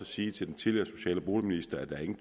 sige til den tidligere socialminister at der ikke